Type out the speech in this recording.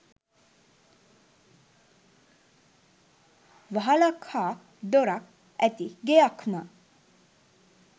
වහලක් හා දොරක් ඇති ගෙයක් ම